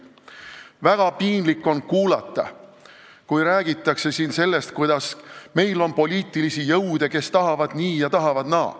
Väga piinlik on kuulata, kui siin räägitakse sellest, et meil on poliitilisi jõude, kes tahavad nii ja tahavad naa.